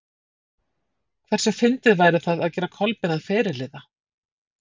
Hversu fyndið væri það að gera Kolbein að fyrirliða?